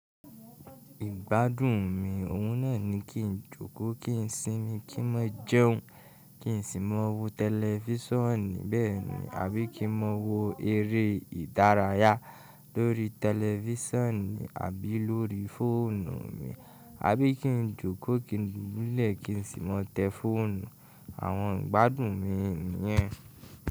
Ìgbádùn mi oun naa ni kí n jókòó, kí n sinmi, kí n má jẹun, kí n sì má wò tẹlifíṣànni bẹ́ẹ̀ni, àbí kí n má wò eré ìdárayá lórí tẹlifíṣànni, àbí lórí fóònù mi, àbí kí n jókòó kí n dubúlẹ̀ kí n sì má tẹ fóònù. Àwọn ìgbádùn mi nìyẹn.